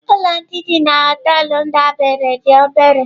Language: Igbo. Ụlọ ndị dị na họtelu m debere dị obere.